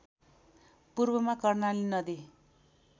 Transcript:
पूर्वमा कर्णाली नदी